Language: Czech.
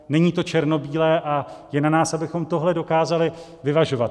Není to černobílé a je na nás, abychom tohle dokázali vyvažovat.